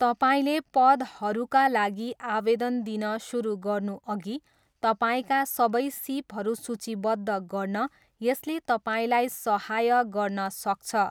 तपाईँले पदहरूका लागि आवेदन दिन सुरु गर्नुअघि तपाईँका सबै सिपहरू सूचीबद्ध गर्न यसले तपाईँलाई सहाय गर्न सक्छ।